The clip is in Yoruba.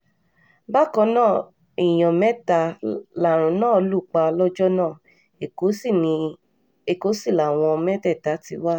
bákan náà èèyàn mẹ́ta làrùn náà lù pa lọ́jọ́ náà èkó sì làwọn mẹ́tẹ̀ẹ̀ta ti wá